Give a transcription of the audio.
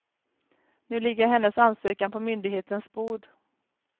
Nu ligger hennes ansökan på myndighetens bord.